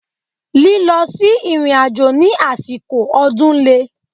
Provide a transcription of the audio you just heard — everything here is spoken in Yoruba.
Lílọ sí ìrìnàjò ní àsìkò ọdún le.